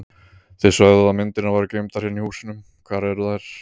Þið sögðuð að myndirnar væru geymdar hérna í húsinu, hvar eru þær?